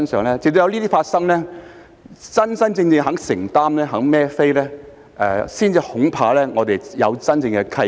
恐怕直到有這些事情發生，官員真正願意承擔和"孭飛"，我們才有真正的契機。